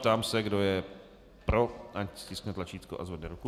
Ptám se, kdo je pro, ať stiskne tlačítko a zvedne ruku.